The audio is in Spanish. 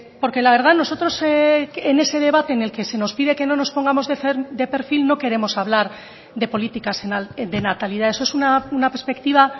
porque la verdad nosotros en ese debate en el que se nos pide que no nos pongamos de perfil no queremos hablar de políticas de natalidad eso es una perspectiva